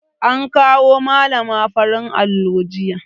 An kawo malana fararen allo jiya